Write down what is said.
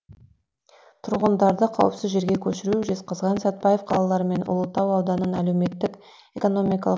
тұрғындарды қауіпсіз жерге көшіру жезқазған сәтбаев қалалары мен ұлытау ауданын әлеуметтік экономикалық